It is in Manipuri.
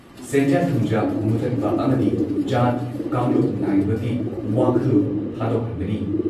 ꯁꯦꯟꯖꯥ ꯊꯨꯝꯖꯥ ꯃꯨꯠꯊꯠꯄ ꯑꯃꯗꯤ ꯖꯥꯠ ꯀꯥꯡꯂꯨꯞ ꯅꯥꯏꯕꯒꯤ ꯋꯥꯈꯜꯂꯣꯟ ꯊꯥꯗꯣꯛꯍꯟꯕꯅꯤ ꯫